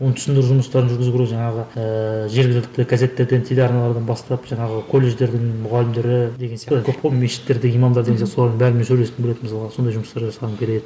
оның түсіндіру жұмыстарын жүргізу керек жаңағы ыыы жергілікті газеттерден телеарналардан бастап жаңағы колледждердің мұғалімдері деген сияқты көп қой мешіттерде имамдар деген сияқты солардың бәрімен сөйлескім келеді мысалға сондай жұмыстар жасағым келеді